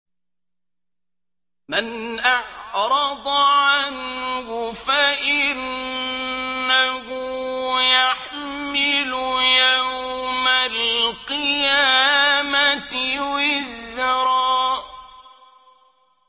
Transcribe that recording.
مَّنْ أَعْرَضَ عَنْهُ فَإِنَّهُ يَحْمِلُ يَوْمَ الْقِيَامَةِ وِزْرًا